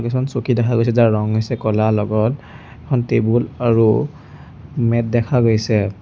কিছুমান চকী দেখা গৈছে যাৰ ৰং হৈছে ক'লা লগত এখন টেবুল আৰু মেট দেখা গৈছে।